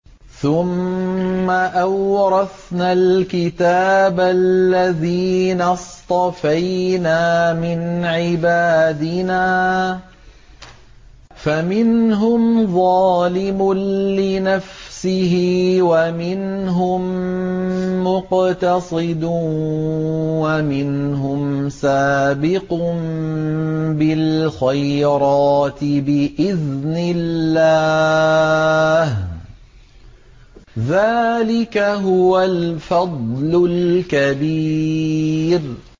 ثُمَّ أَوْرَثْنَا الْكِتَابَ الَّذِينَ اصْطَفَيْنَا مِنْ عِبَادِنَا ۖ فَمِنْهُمْ ظَالِمٌ لِّنَفْسِهِ وَمِنْهُم مُّقْتَصِدٌ وَمِنْهُمْ سَابِقٌ بِالْخَيْرَاتِ بِإِذْنِ اللَّهِ ۚ ذَٰلِكَ هُوَ الْفَضْلُ الْكَبِيرُ